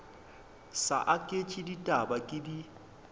sa aketše ditaba ke di